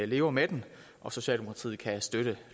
lever med den og socialdemokratiet kan støtte